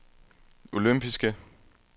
olympiske